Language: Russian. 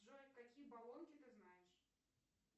джой какие болонки ты знаешь